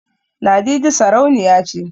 Ladidi sarauniya ce